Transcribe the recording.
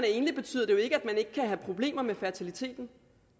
ikke betyder at man ikke kan have problemer med fertiliteten